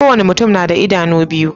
Ko wani mutum na da idanu biyu.